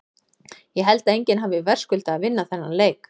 Ég held að enginn hafi verðskuldað að vinna þennan leik.